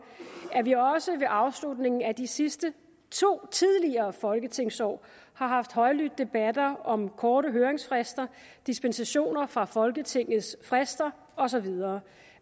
at vi også ved afslutningen af de sidste to tidligere folketingsår har haft højlydte debatter om korte høringsfrister dispensationer fra folketingets frister og så videre